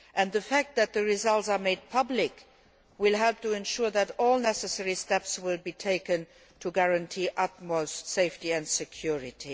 The fact that the results will be made public will help to ensure that all the necessary steps are taken to guarantee the utmost safety and security.